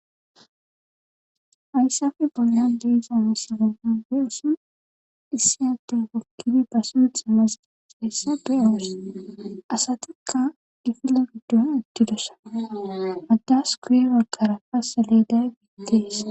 Hayssafe bolan diiza masaganade usan issi ate wokkifi basuutha masdihheessa duyaos asatikka difilofiddo attidosa agdas kuye wagara pasa leday giitteesa